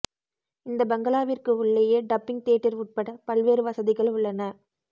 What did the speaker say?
இந்த பங்களாவிற்கு உள்ளேயே டப்பிங் தியேட்டர் உட்பட பல்வேறு வசதிகள் உள்ளன